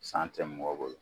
San tɛ mɔgɔ bolo.